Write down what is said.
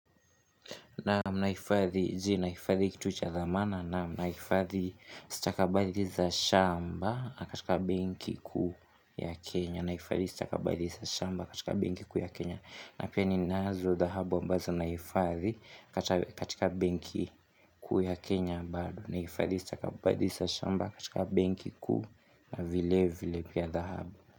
Jee, naifadhi kitu cha dhamana naam. Nahifadhi staka badhii za shamba katika benki kuu ya Kenya na pia ninazo dhahabu ambazo nahifadhi katika benki kuu ya Kenya ambalo nahifadhi staka badhii za shamba katika benki kuu na vile vile pia dhahabu.